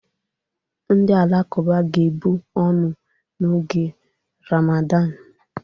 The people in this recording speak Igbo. Ndị Alakụba ga-ebu ọnụ n'oge Ramadan.